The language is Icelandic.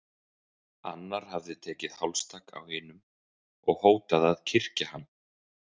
Annar hafði tekið hálstak á hinum og hótað að kyrkja hann.